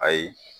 Ayi